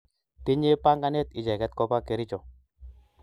Tinye panganet icheket kopa Kericho